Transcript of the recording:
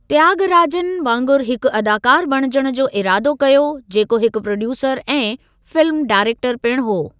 त्यागराजन वांगुरु हिकु अदाकारु बणिजण जो इरादो कयो, जेको हिकु प्रोड्यूसरु ऐं फिल्मु डायरेक्टरु पिण हो।